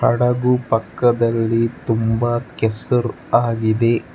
ಹಡಗು ಪಕ್ಕದಲ್ಲಿ ತುಂಬಾ ಕೆಸರು ಆಗಿದೆ.